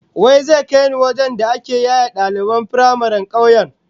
Wa zai kai ni wajen da ake yaye daliban firamaren kauyen?